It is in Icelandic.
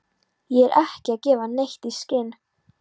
Ég er ekki að gefa neitt í skyn.